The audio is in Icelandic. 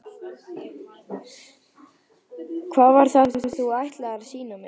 Hvað var það sem þú ætlaðir að sýna mér?